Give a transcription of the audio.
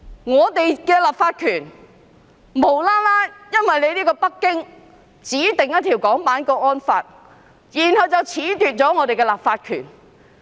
我們的立法權無緣無故地因為北京指定要訂立港區國安法而遭到褫奪。